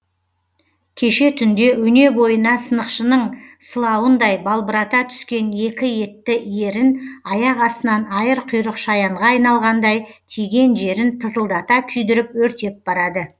кеше түнде өне бойына сынықшының сыла уындай балбырата түскен екі етті ерін аяқ астынан айыр құйрық шаянға айналғандай тиген жерін тызылдата күйдіріп өртеп барады